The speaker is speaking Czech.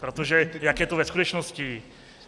Protože jak je to ve skutečnosti?.